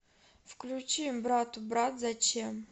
включи братубрат зачем